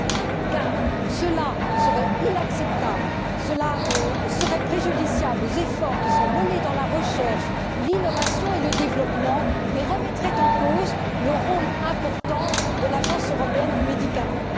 Une telle attitude serait inacceptable et préjudiciable aux efforts qui sont menés dans la recherche, l'innovation et le développement et remettrait en cause le rôle important de l'Agence européenne des médicaments.